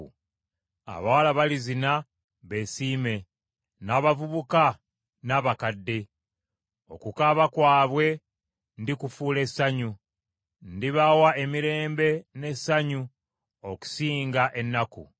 Abawala balizina beesiime, n’abavubuka, n’abakadde. Okukaaba kwabwe ndikufuula essanyu; ndibawa emirembe n’essanyu okusinga ennaku.